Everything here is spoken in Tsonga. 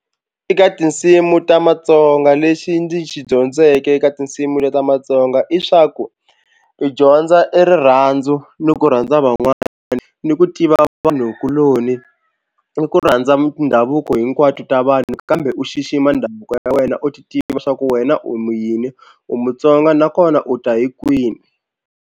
Eka tinsimu ta matsonga lexi ndzi xi dyondzeke eka tinsimu leti ta matsonga i swa ku, u dyondza i rirhandzu ni ku rhandza van'wana ni ku tiva vanhukuloni ni ku rhandza mindhavuko hinkwato ta vanhu kambe u xixima ndhavuko ya wena u ti tivi leswaku wena u mu yini u mutsonga nakona u ta hi kwini.